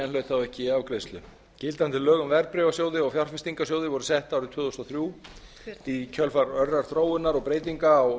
hlaut þá ekki afgreiðslu gildandi lög um verðbréfasjóði og fjárfestingarsjóði voru sett árið tvö þúsund og þrjú í kjölfar örrar þróunar og breytinga á